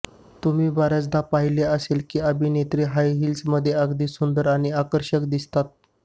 तुम्ही बऱ्याचदा पाहिलं असेल की अभिनेत्री हाय हिल्समध्ये अगदी सुंदर आणि आकर्षक दिसतात